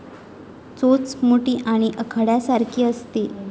चोच मोठी आणि आकड्यासारखी असते.